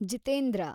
Jitendra